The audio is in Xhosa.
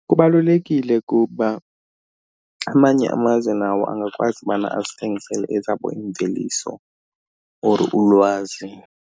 Kubalulekile kuba amanye amazwe nawo angakwazi ubana azithengisele ezabo iimveliso or ulwazi.